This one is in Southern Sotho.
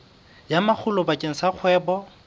ya makgulo bakeng sa kgwebo